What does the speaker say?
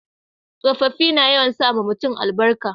tsofaffi na yawan sa ma mutum albarka